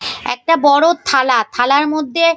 একটা বড় থালাথালার মধ্যে --